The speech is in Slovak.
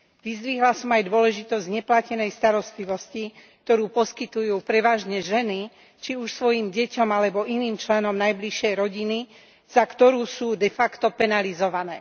Vyzdvihla som aj dôležitosť neplatenej starostlivosti, ktoré poskytujú prevažne ženy, či už svojim deťom alebo iným členom najbližšej rodiny, za ktorú sú de facto penalizované.